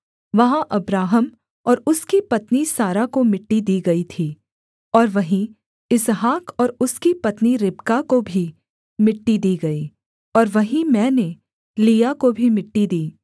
वहाँ अब्राहम और उसकी पत्नी सारा को मिट्टी दी गई थी और वहीं इसहाक और उसकी पत्नी रिबका को भी मिट्टी दी गई और वहीं मैंने लिआ को भी मिट्टी दी